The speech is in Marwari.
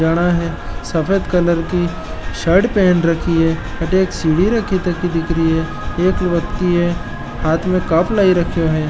जाना है सफ़ेद कलर की शर्ट पेहेन रखी है अठे एक सीढ़ी रखि थकी दिख री है एक व्यक्ति है हाथ में कप लाई रख्यो है।